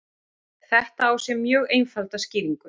Þetta á sér mjög einfalda skýringu.